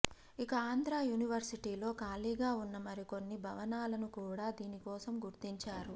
ఇక ఆంధ్రా యూనివర్సిటీలో ఖాళీగా ఉన్న మరికొన్ని భవనాలను కూడా దీనికోసం గుర్తించారు